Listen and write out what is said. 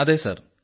അതെ സാർ